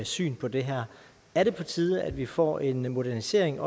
syn på det her er det på tide at vi får en modernisering